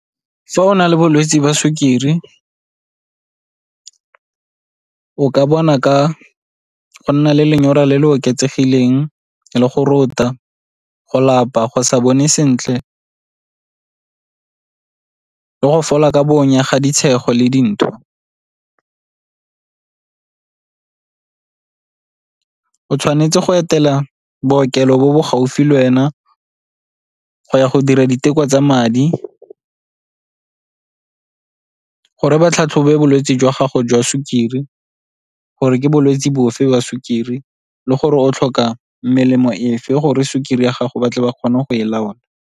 Fa o na le bolwetse ba sukiri o ka bona ka go nna le lenyora le le oketsegileng le go rota, go lapa, go sa bone sentle, le go fola ka bonya ga le dintho. O tshwanetse go etela bookelo bo bo gaufi le wena go ya go dira diteko tsa madi gore ba tlhatlhobe bolwetse jwa gago jwa sukiri gore ke bolwetse bofe ba sukiri le gore o tlhoka melemo efe gore sukiri ya gago ba tle ba kgone go e laola.